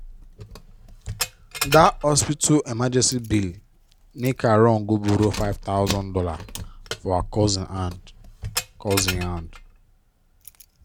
dat hospital emergency bill make her run go borrow five thousand dollars for her cousin hand. cousin hand.